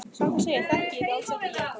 Satt að segja þekki ég þig alls ekki, Jakob.